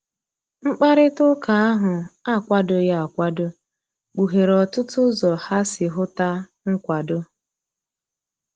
Mkpakarita ụka ahu akwadoghi akwado, kpuhere otụtụ ụzọ ha si huta nkwado.